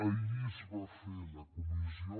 ahir es va fer la comissió